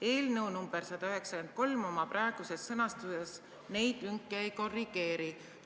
Eelnõu nr 193 oma praeguses sõnastuses neid lünki ei korrigeeri.